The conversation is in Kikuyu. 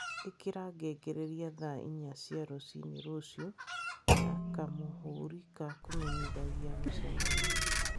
Ĩkĩra ngengeregia thaa inya cia rũcinĩ rũciũ na kamũhũri ka kũmenyithanagia mũcemanio